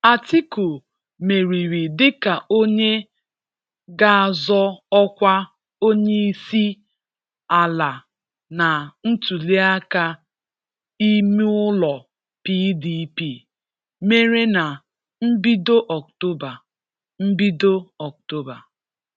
Atiku meriri dịka onye g'azọ ọkwa onye isiala na ntụliaka imeụlọ PDP mere na mbido October. mbido October.